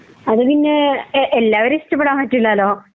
അത് പിന്നെ എല്ലാരിം ഇഷ്ട്ടപ്പെടാൻ പറ്റില്ലലോ